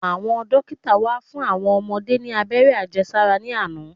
Àwọn dókítà wá fún àwọn ọmọdé ní abẹ́rẹ́ Àjẹsára ní àná.